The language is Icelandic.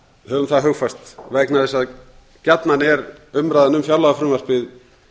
höfum það hugfast vegna þess að gjarnan er umræðan um fjárlagafrumvarpið